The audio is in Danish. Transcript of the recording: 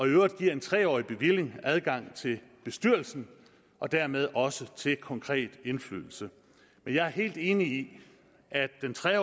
øvrigt giver en tre årig bevilling adgang til bestyrelsen og dermed også til konkret indflydelse jeg er helt enig i at den tre